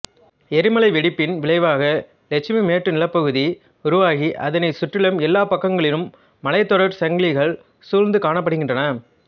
எரிமலை வெடிப்பின் விளைவாக லட்சுமி மேட்டுநிலப்பகுதி உருவாகி அதனைச் சுற்றிலும் எல்லா பக்கங்களிலும் மலைத் தொடர் சங்கிலிகள் சூழ்ந்து காணப்படுகின்றன